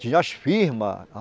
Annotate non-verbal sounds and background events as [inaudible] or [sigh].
Tinha as firmas. [unintelligible]